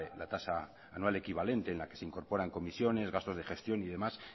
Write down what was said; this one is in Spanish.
la tasa anual equivalente en la que se incorporan comisiones gastos de gestión y demás